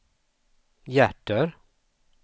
hjärter